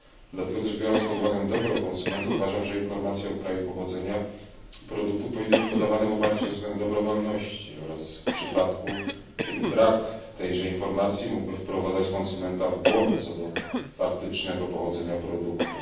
Dlatego też biorąc pod uwagę dobro konsumentów uważam, że informacje o kraju pochodzenia produktów powinny być podawane w oparciu o zasadę dobrowolności oraz w przypadku, kiedy brak tejże informacji mógłby wprowadzać konsumenta w błąd, co do faktycznego pochodzenia produktu.